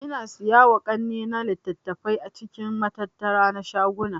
Ina siyowa kannena litattafai a cikin matattara na shaguna